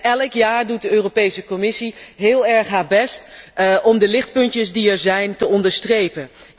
En elk jaar doet de Europese Commissie heel erg haar best om de lichtpuntjes die er zijn te onderstrepen.